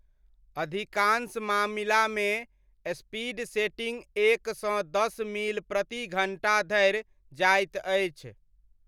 अधिकांश मामिलामे speed setting एक सँ दस मील प्रति घण्टा धरि जाइत अछि।